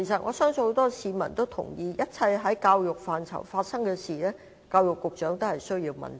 我相信很多市民都同意，一切在教育範疇內的事，教育局局長均須問責。